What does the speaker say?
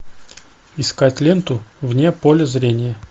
искать ленту вне поля зрения